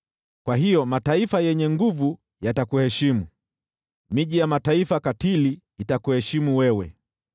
Kwa hiyo mataifa yenye nguvu yatakuheshimu, miji ya mataifa katili itakuheshimu wewe.